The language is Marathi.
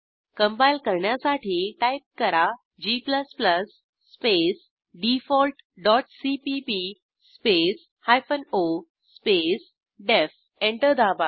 कंपाईल करण्यासाठी टाईप करा g space default dot CPP space hyphen O space DEF enter दाबा